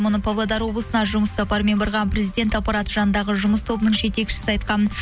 мұны павлодар облысына жұмыс сапарымен барған президент аппараты жанындағы жұмыс тобының жетекшісі айтқан